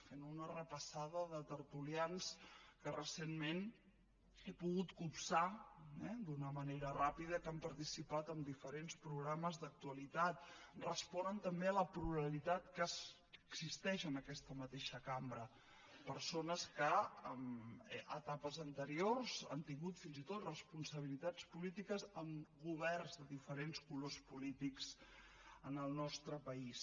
fent una repassada de tertulians que recentment he pogut copsar eh d’una manera ràpida que han participat en diferents programes d’actualitat responen també a la pluralitat que existeix en aquesta mateixa cambra persones que en etapes anteriors han tingut fins i tot responsabilitats polítiques en governs de diferents colors polítics en el nostre país